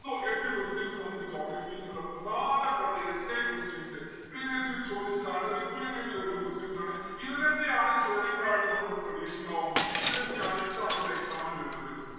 so എട്ട് questions നമ്മുക്ക് geography ഇൽനിന്നുള്ള പ്രധാനപ്പെട്ട essay questions. previous year ഇൽ ചോദിച്ചതാണ് repeat എയ്ത് വരുന്ന questions ആണ്. ഇത് തന്നെയാണ് ചോദ്യങ്ങളായിട്ട് നമ്മുക്ക് പ്രതീക്ഷിക്കാവുന്നത് ഇത് തന്നെയാണ് ഇത്തവണത്തെ exam ന് വരുന്നത്.